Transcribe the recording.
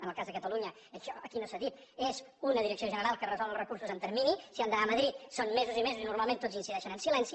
en el cas de catalunya això aquí no s’ha dit és una direcció general que resol els recursos en termini si han d’anar a madrid són mesos i mesos i normalment tots incideixen en silenci